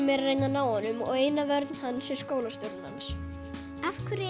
er að reyna að ná honum og eina vörn hans er skólastjórinn hans af hverju